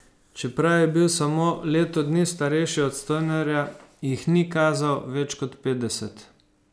Čeprav je bil samo leto dni mlajši od Stonerja, jih ni kazal več kot petdeset.